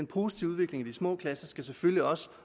positive udvikling i de små klasser selvfølgelig også